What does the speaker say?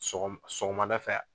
Sɔgɔmada fɛ.